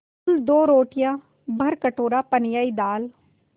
कुल दो रोटियाँ भरकटोरा पनियाई दाल